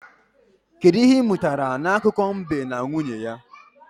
Kedụ ihe ị mụtara n'akụkọ mbe na nwunye ya?